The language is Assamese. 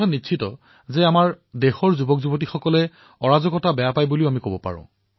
এটা কথা ঠিক যে দেশৰ যুৱচামে অৰাজকতা ভাল নাপায় বুলিও আমি কব পাৰো